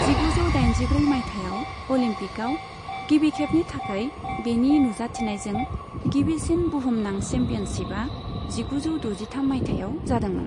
जिगुजौ दाइनजिब्रै मायथाइयाव अलिम्पिकआव गिबि खेबनि थाखाय बेनि नुजाथिनायजों गिबिसिन बुहुमनां चेम्पियनशिपआ जिगुजौ द'जिथाम मायथाइयाव जादोंमोन।